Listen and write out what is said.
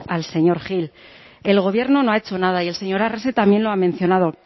al señor gil el gobierno no ha hecho nada y el señor arrese también lo ha mencionado